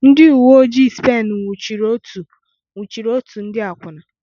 Ndị uwe ojii Spen nwụchiri otu nwụchiri otu ndị akwụna